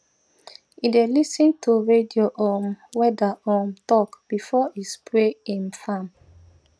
e dey lis ten to radio um weather um talk before e spray im farm